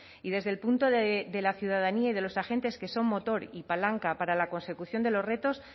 y desde el punto de la ciudadanía y de los agentes que son motor y palanca para la consecución de los retos